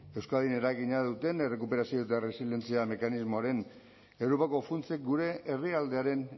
euskadin eragina duten errekuperazio eta erresilientzia mekanismoaren europako funtsek gure herrialdearen